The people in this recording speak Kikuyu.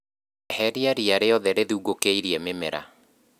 Eheria ria riothe rĩthugũkĩirie mĩmera.